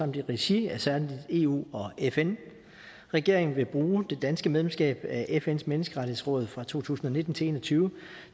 i regi af særlig eu og fn regeringen vil bruge det danske medlemskab af fns menneskerettighedsråd fra to tusind og nitten til en og tyve